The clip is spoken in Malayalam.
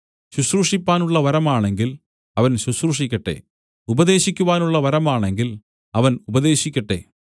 ശുശ്രൂഷിപ്പാനുള്ള വരമാണെങ്കിൽ അവൻ ശുശ്രൂഷിക്കട്ടെ ഉപദേശിക്കുവാനുള്ള വരമാണെങ്കിൽ അവൻ ഉപദേശിക്കട്ടെ